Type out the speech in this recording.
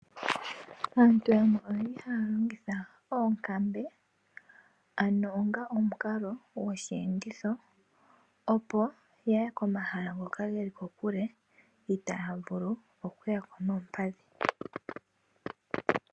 Aantu yamwe oye li haya longitha oonkambe ano onga omukalo gosheenditho opo yaye komahala ngoka geli kokule itaa ya vulu okuya ko noompadhi.